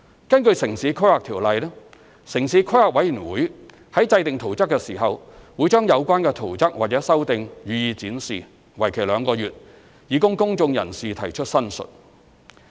根據《城市規劃條例》，城市規劃委員會在制訂圖則時，會將有關圖則或修訂予以展示，為期兩個月，以供公眾人士提出申述。